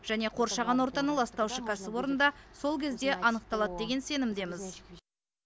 және қоршаған ортаны ластаушы кәсіпорын да сол кезде анықталады деген сенімдеміз